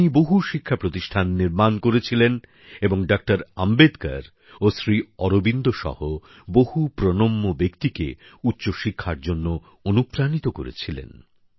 তিনি বহু শিক্ষা প্রতিষ্ঠান নির্মাণ করেছিলেন এবং ডক্টর অম্বেদকর ও শ্রী অরবিন্দ সহ বহু প্রণম্য ব্যক্তিকে উচ্চশিক্ষার জন্য অনুপ্রাণিত করেছিলেন